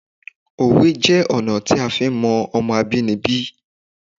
Òwe jẹ́ ọ̀nà tí a lè fi mọ Ọmọ abínibí